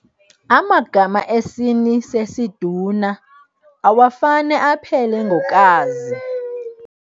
Amagama esini sesiduna awafane aphele ngo-kazi.